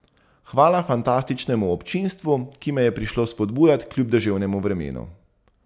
Hvala fantastičnemu občinstvu, ki me je prišlo spodbujat kljub deževnemu vremenu.